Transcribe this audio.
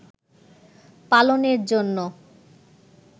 পালনের জন্য